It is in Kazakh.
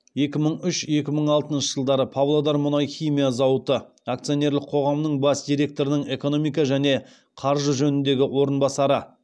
екі мың үш екі мың алтыншы жылдары павлодар мұнай химия зауыты акционерлік қоғамның бас директорының экономика және қаржы жөніндегі орынбасары